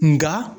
Nka